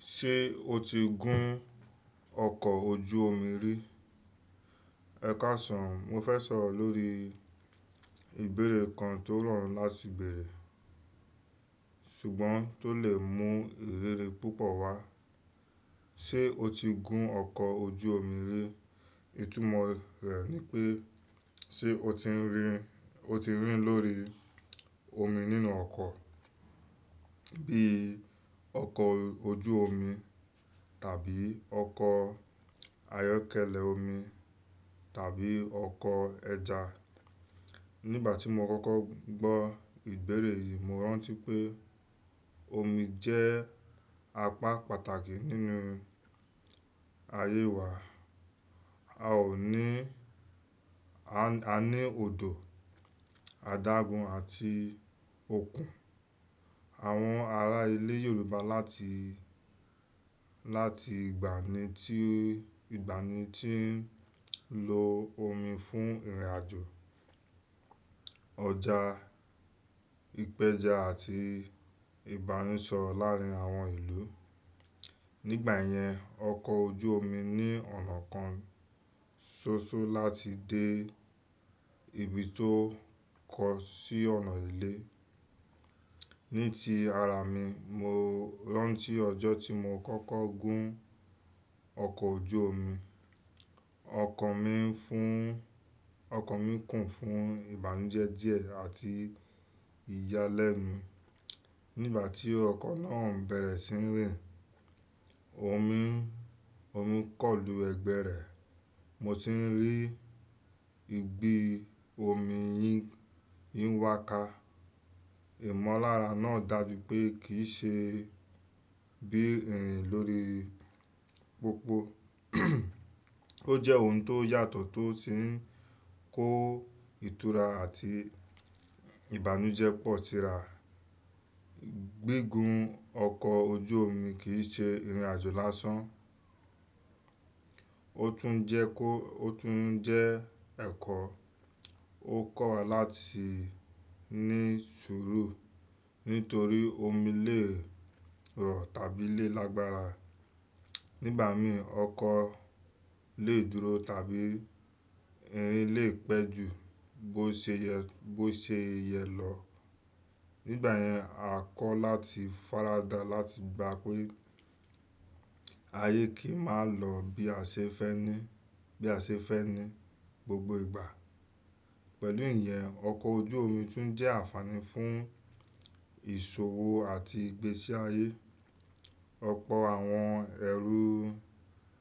Ṣé o ti gún ọkọ̀ ojú omi rí? Ẹ̀kásàn mo fẹ́ sọ̀rọ̀ lórí ìbéèrè kan tó ràn láti bèèrè, ṣùgbọ́n tó lè mú ìrírí púpọ̀ wá. Ṣé o ti gún ọkọ̀ ojú omi rí? Ìtumọ̀ rẹ̀ ni pé, ṣé o ti ń rìn, o ti ń rìn lórí omi nínú ọkọ̀, bí ọkọ̀ ojú omi tàbí ọkọ̀ ayọ́kẹ́lẹ́ omi tàbí ọkọ̀ ẹja. Nígbà tí mo kọ́kọ́ gbọ́ ìgbérè yìí, mo rántí pé omi jẹ́ apá pàtàkì nínú ayé wa. A ò ní, a ní odò, àdágún àti òkun. Àwọn ará ilẹ̀ Yorùbá láti, láti ìgbàanì tí, ìgbàanì tí ń lo omi fún ìrìnàjò, ọjà, ìpẹja àti ìbánisọ̀rọ̀ láàárín àwọn ìlú. Nígbà yẹn, ọkọ̀ ojú omi ní ọ̀nà kan ṣoṣo láti dé ibi tó kọ̀ sí ọ̀nà ilé. Ní ti ara mi, mo rántí ọjọ́ tí mo kọ́kọ́ gún ọkọ̀ ojú omi. Ọkàn mi ń fún, ọkàn mi kún fún ìbànújẹ́ díẹ̀ àti ìyálẹ́nu. Nígbà tí ọkọ̀ náà ń bẹ̀rẹ̀ sí ń rìn, omi, omi kọ̀lù ẹgbẹ́ rẹ̀, mo sì ń rí igbi omi yín ń wàká. Ìmọ̀lára náà dàjú pé kì í ṣe bí ìrìn lórí pópó. Ó jẹ́ ohun tó yàtọ̀ tó sì ń kó ìtura àti ìbànújẹ́ pọ̀ tira. Gígun ọkọ̀ ojú omi kì í ṣe ìrìnàjò lásán, ó tún ń jẹ́ kó, ó tún ń jẹ́ ẹ̀kọ́. Ó kọ̀ wa láti ní sùúrù nítorí omi lè rọ̀ tàbí lè lágbára. Nígbà mí ọkọ̀ lè dúró tàbí ìrìn lè pẹ́ jù bó ṣe yẹ, bó ṣe yẹ lọ. Nígbà yẹn, a kọ̀ láti faradà láti gba pé ayé kì í máa lọ bí a ṣe fẹ́ ní, bí a ṣe fẹ́ ní gbogbo ìgbà. Pẹ̀lú ìyẹn, ọkọ̀ ojú omi tún jẹ́ ànfàní fún ìṣòwò àti ìgbésí ayé. Ọ̀pọ̀ àwọn ẹrú,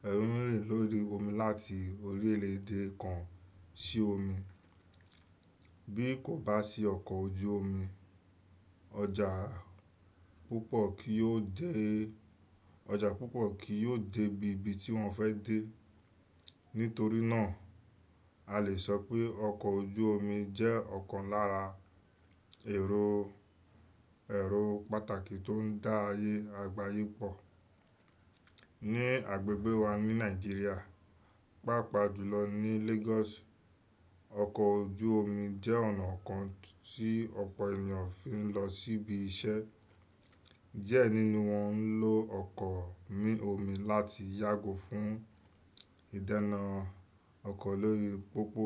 ẹrú ń rìn lórí omi láti orílẹ̀ èdè kan sí omi. Bí kò bá sí ọkọ̀ ojú omi, ọjà púpọ̀ kì yóò dé, ọjà púpọ̀ kì yóò dé ibi tí wọ́n fẹ́ dé. Nítorí náà, a lè sọ pé ọkọ̀ ojú omi jẹ́ ọ̀kan lára èrò, èrò pàtàkì tó ń dá ayé, àgbáyé pọ̀. Ní agbègbè wa ní Nàìjíríà, pàápàá jùlọ ní Lagos, ọkọ̀ ojú omi jẹ́ ọ̀nà kan tí ọ̀pọ̀ ènìyàn fi ń lọ síbi iṣẹ́. Díẹ̀ nínú wọn ń lo ọkọ̀ mí omi láti yàgò fún ìdáná ọkọ̀ lórí pópó.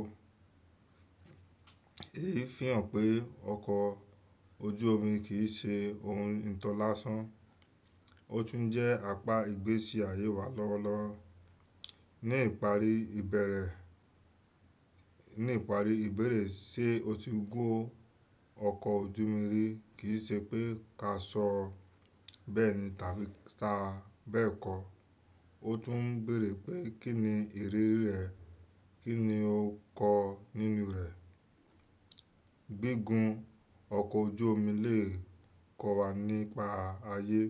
Èyí fi hàn pé ọkọ̀ ojú omi kì í ṣe ohun ìtọ́ lásán, ó tún jẹ́ apá ìgbésí ayé wa lọ́wọ́lọ́wọ́. Ní ìparí ìbẹ̀rẹ̀, ní ìparí ìbéèrè ṣe o ti gún ọkọ̀ ojú omi rí kì í ṣe pé ká sọ bẹ́ẹ̀ ni tàbí ká bẹ́ẹ̀ kọ́. Ó tún ń béèrè pé kín ni ìrírí rẹ̀, kín ni ó kọ nínú rẹ̀. Gígun ọkọ̀ ojú omi lè kọ́ wa nípa ayé,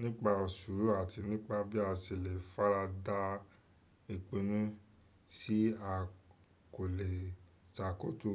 nípa òṣùúrù àti nípa bí a ṣe lè faradà ìpinnu tí a kò lè ṣàkóso.